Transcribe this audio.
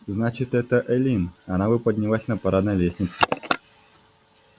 значит это эллин она бы поднялась но парадной лестнице